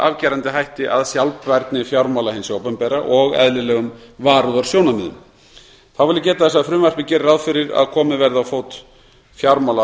afgerandi hætti að sjálfbærni fjármála hins opinbera og eðlilegum varúðarsjónarmiðum þá vil ég geta þess að frumvarpið gerir ráð fyrir að komið verði á fót